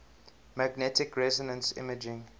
magnetic resonance imaging